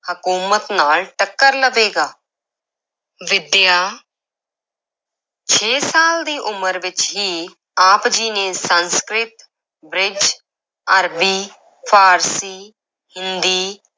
ਹਕੂਮਤ ਨਾਲ ਟੱਕਰ ਲਵੇਗਾ ਵਿਦਿਆ ਛੇ ਸਾਲ ਦੀ ਉਮਰ ਵਿੱਚ ਹੀ ਆਪ ਜੀ ਨੇ ਸੰਸਕ੍ਰਿਤ, ਬ੍ਰਿਜ, ਅਰਬੀ, ਫਾਰਸੀ, ਹਿੰਦੀ